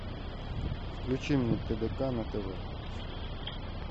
включи мне тдк на тв